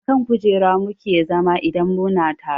A kan kujera mu ke zama idan mu na taro